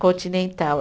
Continental.